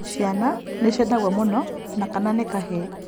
Ciana nĩciendagwo mũno na kana nĩ kahĩĩ